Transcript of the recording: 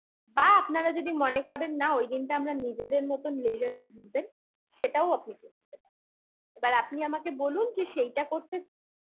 বা আপনারা যদি মনে করেন না ওই দিনটা আমরা নিজেদের মতো leasurely ঘুরবেন সেটাও আপনি করতে পারেন এবার আপনি আমাকে বলুন যে সেইটা করতে